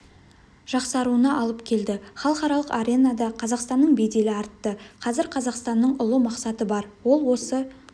жақсаруына алып келді халықаралық аренада қазақстанның беделі артты қазір қазақстанның ұлы мақсаты бар ол осы